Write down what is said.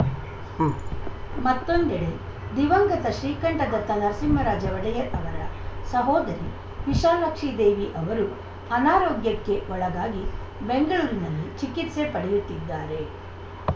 ಉಂ ಮತ್ತೊಂದೆಡೆ ದಿವಂಗತ ಶ್ರೀಕಂಠದತ್ತ ನರಸಿಂಹರಾಜ ಒಡೆಯರ್‌ ಅವರ ಸಹೋದರಿ ವಿಶಾಲಾಕ್ಷಿದೇವಿ ಅವರೂ ಅನಾರೋಗ್ಯಕ್ಕೆ ಒಳಗಾಗಿ ಬೆಂಗಳೂರಿನಲ್ಲಿ ಚಿಕಿತ್ಸೆ ಪಡೆಯುತ್ತಿದ್ದಾರೆ